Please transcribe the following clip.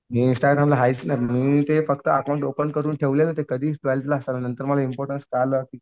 मी इंस्टाग्रामला आहेच मी ते फक्त अकाउंट ओपन करून ठेवलंय ना ते कधीच नंतर मला इम्पॉर्टन्स कळालं की